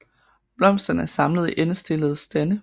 Blomsterne er samlet i endestillede stande